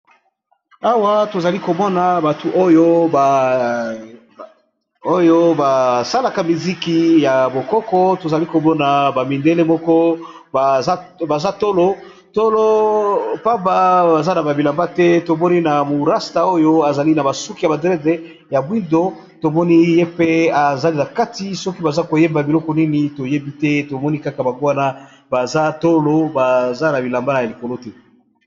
Awa tozali komona batu oyo basalaka miziki ya bokoko tozali komona ,ba mindele moko baza tolo pamba baza na babilamba te tomoni na rasta oyo ezali na basuki ya badrede ya bwindo tomoni ye mpe ezali na kati soki baza koyeba biloko nini toyebi te tomoni kaka bangwa na baza tolo baza na bilamba na likolo te.